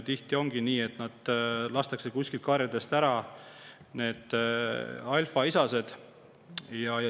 Tihti ongi nii, et karjadest lastakse maha alfaisased.